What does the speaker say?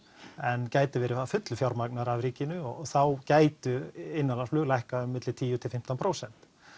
en gæti verið að fullu fjármagnaður af ríkinu og þá gætu innanlandsflug lækkað um milli tíu til fimmtán prósent